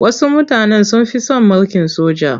Wasu mutanen sun fi son mulkin soja.